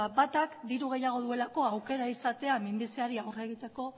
ba batak diru gehiago duelako aukera izatea minbiziari aurre egiteko